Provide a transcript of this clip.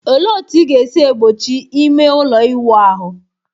Olee otú ị ga-esi egbochi ime ụlọ ịwụ ahụ?